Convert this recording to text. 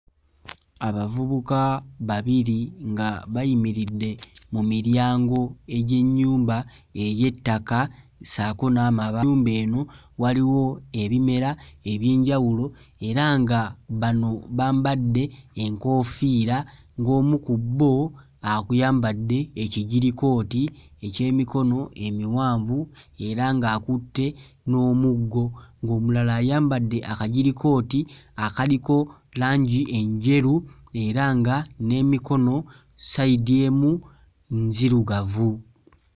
Abavubuka babiri nga bayimiridde mu miryango egy'ennyumba ey'ettaka ssaako n'amaba, ennyumba eno waliwo ebimera eby'enjawulo era nga bano bambadde enkoofiira ng'omu ku bo aku yambadde ekijirkooti eky'emikono emiwanvu era ng'akutte n'omuggo ng'omulala ayambadde akajirikooto akaliko langi enjeru era nga n'emikono ssayidi emu nzirugavu.